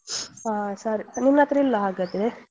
ಹ ಸರಿ ನಿನ್ನತ್ರ ಇಲ್ಲ ಹಾಗಾದ್ರೆ ?